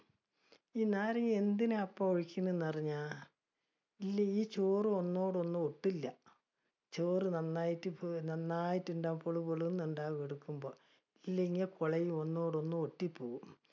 ഈ നാരങ്ങ എന്തിനാ ഇപ്പ ഒഴിക്കണെന്ന് അറിഞ്ഞ? ഈ ചോറ് ഒന്നോടൊന്ന് ഒട്ടില്ല, ചോറ് നന്നായിട്ട് നന്നായിട്ടുണ്ടാവും പുളു പുളു എന്ന് ഉണ്ടാവും എടുക്കുമ്പ. ഇല്ലെങ്കിൽ ഒന്നോടൊന്നു ഒട്ടിപ്പോ